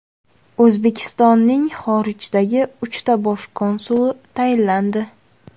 O‘zbekistonning xorijdagi uchta bosh konsuli tayinlandi.